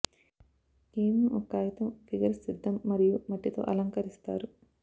కేవలం ఒక కాగితం ఫిగర్ సిద్ధం మరియు మట్టి తో అలంకరిస్తారు